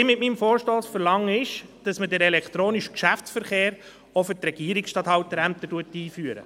Mit meinem Vorstoss verlange ich, dass man den elektronischen Geschäftsverkehr auch für die Regierungsstatthalterämter einführt.